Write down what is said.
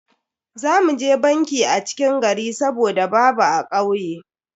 Za mu je banki a cikin gari saboda babu a kauye.